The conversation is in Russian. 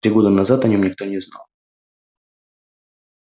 три года назад о нём никто не знал